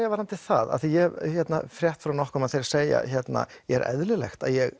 já varðandi það af því að ég hef frétt frá nokkrum að þeira segja er eðlilegt að ég